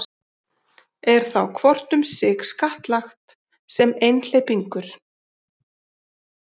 Er þá hvort um sig skattlagt sem einhleypingur.